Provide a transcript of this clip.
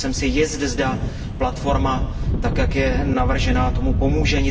Nejsem si jist, zda platforma tak, jak je navržena, tomu pomůže.